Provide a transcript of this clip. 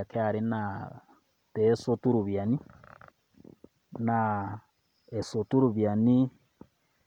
e KRA naa peesotu iropiani, naa esotu iropiani